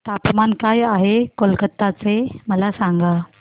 तापमान काय आहे कलकत्ता चे मला सांगा